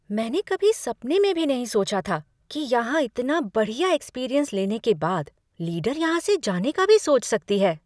मैंने कभी सपने में भी नहीं सोचा था कि यहाँ इतना बढ़िया एक्सपीरियंस लेने के बाद, लीडर यहाँ से जाने का भी सोच सकती है।